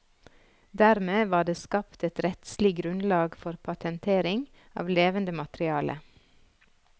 Dermed var det skapt et rettslig grunnlag for patentering av levende materiale.